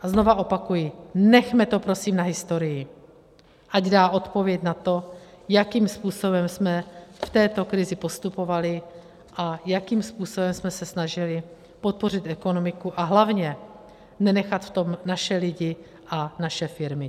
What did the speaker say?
A znovu opakuji, nechme to prosím na historii, ať dá odpověď na to, jakým způsobem jsme v této krizi postupovali a jakým způsobem jsme se snažili podpořit ekonomiku a hlavně nenechat v tom naše lidi a naše firmy.